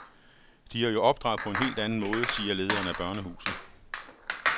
De er jo opdraget på en helt anden måde, siger lederen af børnehuset.